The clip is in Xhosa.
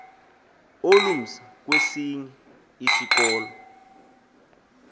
olumsa kwesinye isikolo